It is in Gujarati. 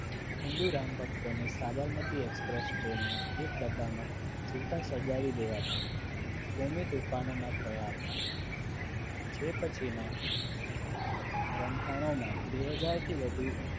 હિન્દુ રામ ભક્તોને સાબરમતી એક્સપ્રેસ ટ્રેનમાં ડબ્બામાં જીવતા સળગાવી દેવાતા કોમી તુંફાનોમાં થયા હતા જે પછીના રમખાણોમાં બેહજાર થી વધુ